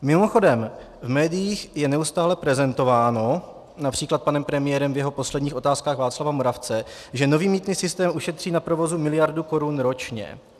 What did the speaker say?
Mimochodem v médiích je neustále prezentováno, například panem premiérem v jeho posledních Otázkách Václava Moravce, že nový mýtný systém ušetří na provozu miliardu korun ročně.